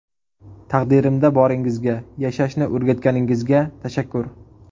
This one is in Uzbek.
Taqdirimda boringizga, yashashni o‘rgatganingizga tashakkur.